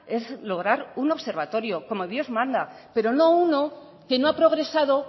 es lograr un observatorio como dios manda pero no uno que no ha progresado